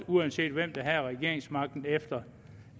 uanset hvem der havde regeringsmagten efter